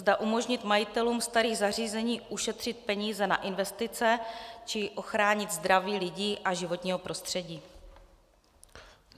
Zda umožnit majitelům starých zařízení ušetřit peníze na investice či ochránit zdraví lidí a životního prostředí.